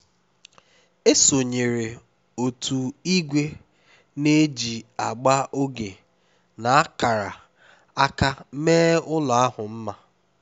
e sonyeere otu ìgwè na-eji agba oge na akara aka mee ụlọ ahụ mma